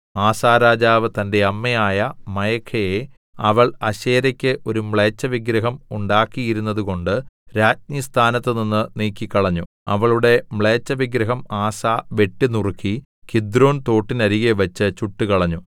ആസാ രാജാവ് തന്റെ അമ്മയായ മയഖയെ അവൾ അശേരക്ക് ഒരു മ്ലേച്ഛവിഗ്രഹം ഉണ്ടാക്കിയിരുന്നതുകൊണ്ട് രാജ്ഞിസ്ഥാനത്തുനിന്ന് നീക്കിക്കളഞ്ഞു അവളുടെ മ്ലേച്ഛവിഗ്രഹം ആസാ വെട്ടിനുറുക്കി കിദ്രോൻ തോട്ടിനരികെ വെച്ച് ചുട്ടുകളഞ്ഞു